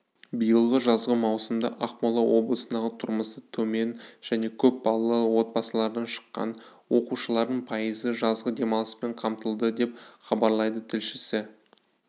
биылғы жазғы маусымда ақмола облысындағы тұрмысы төмен және көп балалы отбасылардан шыққан оқушылардың пайызы жазғы демалыспен қамтылды деп хабарлайды тілшісі